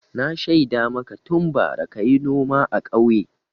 Na shaida maka tun bara ka yi noma a ƙauye.